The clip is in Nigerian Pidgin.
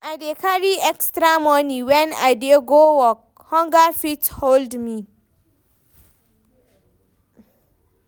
I dey carry extra moni wen I dey go work, hunger fit hold me.